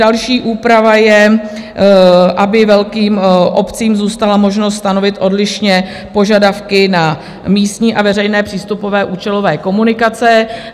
Další úprava je, aby velkým obcím zůstala možnost stanovit odlišně požadavky na místní a veřejné přístupové účelové komunikace.